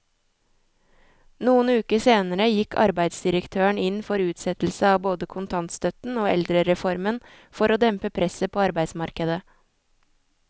Noen uker senere gikk arbeidsdirektøren inn for utsettelse av både kontantstøtten og eldrereformen for å dempe presset på arbeidsmarkedet.